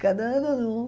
Cada ano, em um.